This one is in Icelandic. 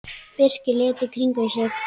Birkir leit í kringum sig.